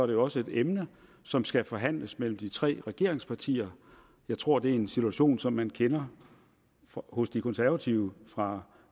jo også et emne som skal forhandles mellem de tre regeringspartier jeg tror det er en situation man kender hos de konservative fra